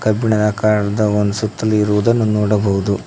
ಕಬ್ಬಿಣದ ಆಕಾರದ ಒಂದು ಸುತ್ತಲು ಇರುವುದನ್ನು ನೋಡಬಹುದು.